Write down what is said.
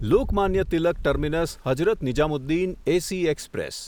Lokmanya Tilak terminus Hazrat Nizamuddin AC express